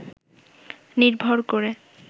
নির্ভর করে